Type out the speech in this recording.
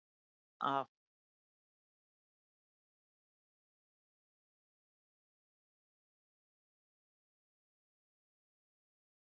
magn af